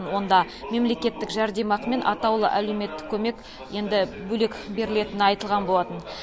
онда мемлекеттік жәрдемақы мен атаулы әлеуметтік көмек енді бөлек берілетіні айтылған болатын